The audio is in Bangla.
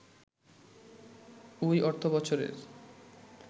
ওই অর্থবছরের